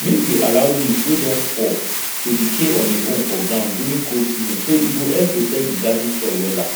make you allow leaf wey don fall to decay on e own for ground during cold season e go help protect di garden soil wella